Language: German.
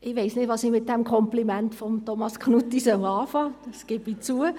Ich weiss nicht, was ich mit dem Kompliment von Thomas Knutti anfangen soll, das gebe ich zu.